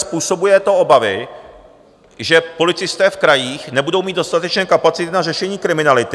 způsobuje to obavy, že policisté v krajích nebudou mít dostatečné kapacity na řešení kriminality.